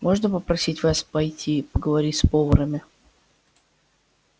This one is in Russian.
можно попросить вас пойти поговорить с поварами